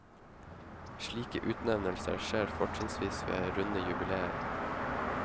Slike utnevnelser skjer fortrinnsvis ved runde jubileer.